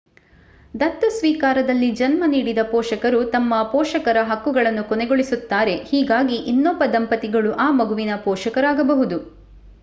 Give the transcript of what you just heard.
ದತ್ತು ಸ್ವೀಕಾರದಲ್ಲಿ ಜನ್ಮ ನೀಡಿದ ಪೋಷಕರು ತಮ್ಮ ಪೋಷಕರ ಹಕ್ಕುಗಳನ್ನು ಕೊನೆಗೊಳಿಸುತ್ತಾರೆ ಹೀಗಾಗಿ ಇನ್ನೊಬ್ಬ ದಂಪತಿಗಳು ಆ ಮಗುವಿಗೆ ಪೋಷಕರಾಗಬಹುದು